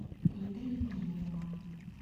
лида евгеньевна